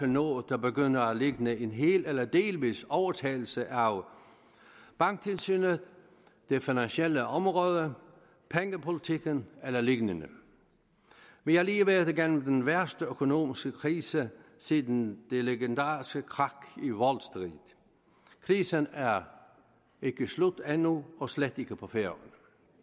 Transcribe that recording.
noget der begynder at ligne en hel eller delvis overtagelse af banktilsynet det finansielle område pengepolitikken eller lignende vi har lige været igennem den værste økonomiske krise siden det legendariske krak i wall street krisen er ikke slut endnu og slet ikke på færøerne